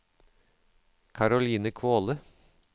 Caroline Kvåle